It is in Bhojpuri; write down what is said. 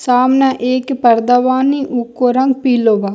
सामने एक पर्दा बानी उको रंग पीलो बा।